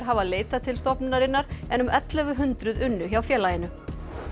hafa leitað til stofnunarinnar en um ellefu hundruð unnu hjá félaginu